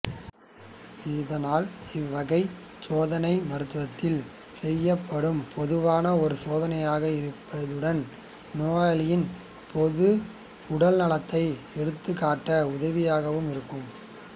இதனால் இவ்வகைச் சோதனை மருத்துவத்தில் செய்யப்படும் பொதுவான ஒரு சோதனையாக இருப்பதுடன் நோயாளியின் பொது உடல்நலத்தை எடுத்துக்காட்ட உதவியாகவும் இருக்கும்